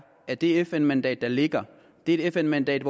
at det fn mandat der ligger er et fn mandat